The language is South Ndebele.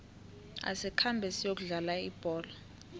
asikhambe siyokudlala ibholo